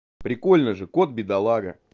прикольно же кот бедолага